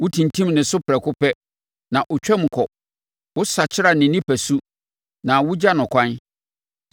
Wotintim ne so prɛko pɛ, na ɔtwam kɔ; wosakyera ne nipasu na wogya no kwan.